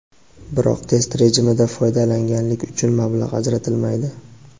biroq test rejimida foydalanganlik uchun mablag‘ ajratilmaydi.